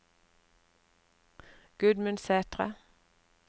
Gudmund Sætre